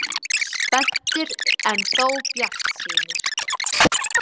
Spenntir en þó bjartsýnir.